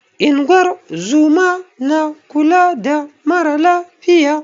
Ingozuma na kula da mara lafiya